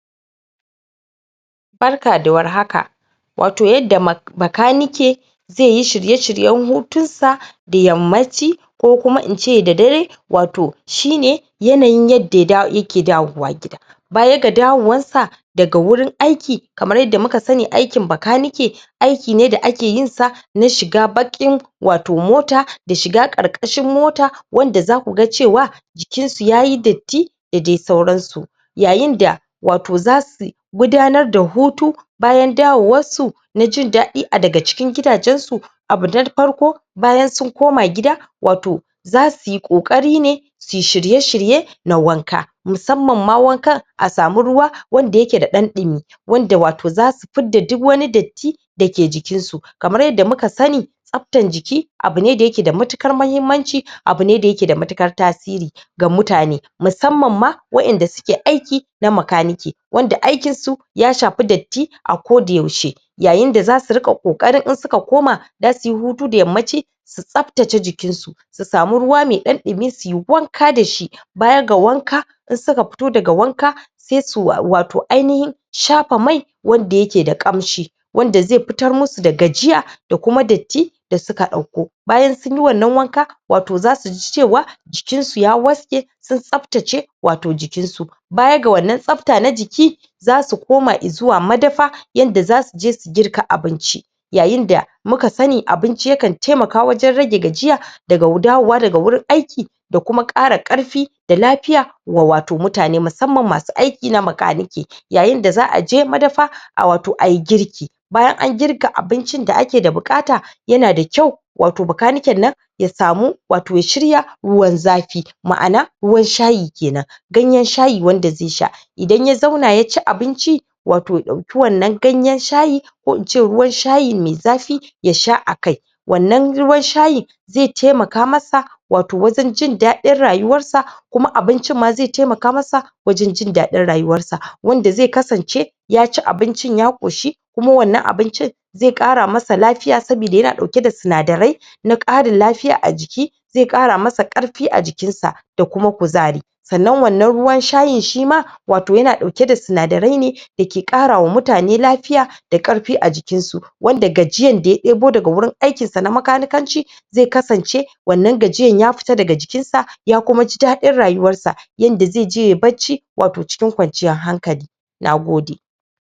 barka da warhaka wato yadda ma makanike zaiyi shirye shiryen hutunsa da yammaci ko kuma ince da dare wato shine yanayin yadda da yake dawowa gida baya ga dawowarsa daga wurin aiki kamar yadda muka sani aikin makanike aiki ne da ake yin sa na shiga baƙin wato mota da shiga ƙarƙashin mota wanda zaku ga cewa jikinsu yayi datti dadai sauransu yayin da wato zasu gudanar da hutu bayan dawowarsu najin daɗi a daga cikin gidajen su abu na farko bayan sun koma gida wato zasuyi ƙoƙarine suyi shirye shirye na wanka musamman ma wankan a samu ruwa wanda yake da ɗan dumi wanda wato zasu fidda duk wani datti dake jikin su kamar yadda muka sani tsaftan jiki abu ne da yake da matuƙar mahimmanci abu ne da yake da matuƙar tasiri ga mutane, musamman ma waƴanda suke aiki na makanike wanda aikinsu ya shafi datti akodayaushe yayin da zasu riƙa ƙoƙarin in suka koma zasuyi hutu da yammaci su tsaftace jikin su su samu ruwa mai ɗan ɗumi suyi wanka dashi bayaga wanka in suka fito daga wanka sai su wa wato ainihin shafa mai wanda yake da ƙamshi wanda zai fitar musu da gajiya da kuma datti da suka ɗauko bayan sunyi wannan wanka wato zasuji cewa jikin su ya waske sun tsaftace wato jikin su bayaga wannan tsafta na jiki zasu koma izuwa madafa yanda zasuje su girka abinci yayin da muka sani abinci yakan taimaka wajen rage gajiya daga dawowa daga wurin aiki da kuma ƙara ƙarfi da lafiya wa wato mutane musamman masu aiki na makanike yayin da za'aje madafa a wato ayi girki bayan an girka abincin da ake da buƙata yana da ƙyau wato bakaniken nan ya samu, wato ya shirya ruwan zafi ma'ana, ruwan shayi kenan ganyen shayi wanda zai sha idan ya zauna yaci abinci wato ya ɗauki wannan ganyen shayi ko ince ruwan shayi mai zafi yasha akai wannan ruwan shayi zai taimaka masa wato wajen jin daɗin rayuwarsa kuma abincin ma zai taimaka masa wajen jin daɗin rayuwarsa wanda zai kasance yaci abincin ya ƙoshi kuma wannan abincin zai ƙara masa lafiya sabida yana ɗauke da sinadarai na ƙarin lafiya a jiki zai ƙara masa ƙarfi a jikinsa da kuma kuzari sannan wannan ruwan shayin shima wato yana ɗauke da sinadarai ne dake ƙra wa mutane lafiya da ƙarfi a jikinsu wanda gajiayan da ya ɗebo daga wurin aikinsa na makanikanci zai kasance wannan gajiayan ya fita daga jikinsa, ya kuma ji daɗin rayuwarsa yanda zai je yai barci wato cikin kwanciyar hankali nagode